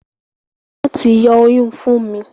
Wón tí yó Oyún Funmi